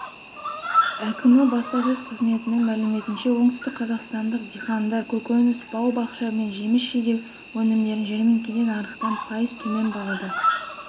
әкімі баспасөз қызметінің мәліметінше оңтүстікқазақстандықдихандар көкөніс бау-бақша мен жеміс жидек өнімдерін жәрмеңкеде нарықтан пайыз төмен бағада